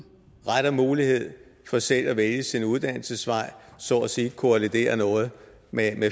mulighed for selv at vælge sin uddannelsesvej så at sige kolliderer noget med